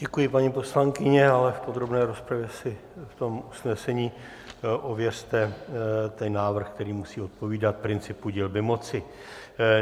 Děkuji, paní poslankyně, ale v podrobné rozpravě si v tom usnesení ověřte ten návrh, který musí odpovídat principu dělby moci.